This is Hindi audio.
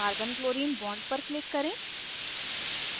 carbonchlorine bond पर click करें